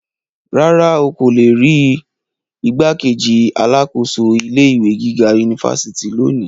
Rárá, o ko le ri rii igbákejì alákòóso ilé ìwé gíga unifásitì loni.